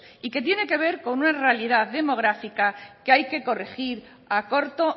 y que tiene que ver con una realidad demográfica que hay que corregir a corto